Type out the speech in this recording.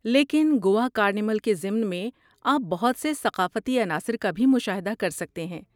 لیکن گوا کارنیول کے ضمن میں، آپ بہت سے ثقافتی عناصر کا بھی مشاہدہ کر سکتے ہیں۔